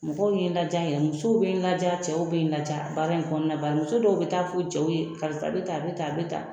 Mɔgɔw ye lajɛ yan. Musow be n laja, cɛw be n laja. Baara in kɔnɔna ba muso dɔw be taa fo u cɛw ye karisa be tan a be tan a be tan.